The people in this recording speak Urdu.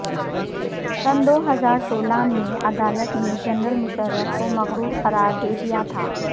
سنہ دو ہزار سولہ میں عدالت نے جنرل مشرف کو مفرور قرار دیدیا تھا